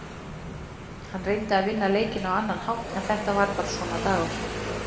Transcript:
Hann reyndi að vinna leikinn á annan hátt en þetta var bara svona dagur.